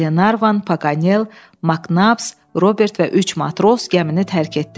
Qlenarvan, Paganel, Maknaps, Robert və üç matros gəmini tərk etdilər.